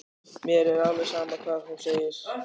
Mér er alveg sama hvað hún segir.